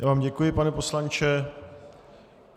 Já vám děkuji, pane poslanče.